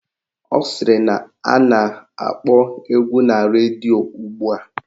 Ọ sịrị na a na-akpọ egwu na redio ugbua